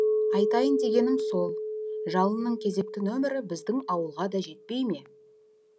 айтайын дегенім сол жалынның кезекті нөмірі біздің ауылға да жетпей ме